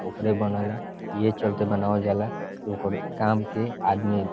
ओकरे बनेला इहे चलते बनेवला जाला कि ओकर काम के आदमी --